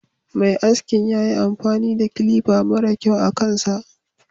Mai askin yayi amfani da kilifa mara kyau akan sa.